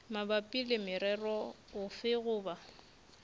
mabapi le morero ofe goba